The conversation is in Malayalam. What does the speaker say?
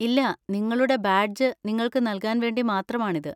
ഇല്ല, നിങ്ങളുടെ ബാഡ്ജ് നിങ്ങൾക്ക് നൽകാൻ വേണ്ടി മാത്രമാണിത്.